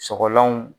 Sɔgɔlanw